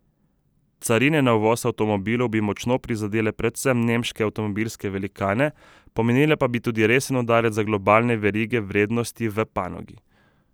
Carine na uvoz avtomobilov bi močno prizadele predvsem nemške avtomobilske velikane, pomenile pa bi tudi resen udarec za globalne verige vrednosti v panogi.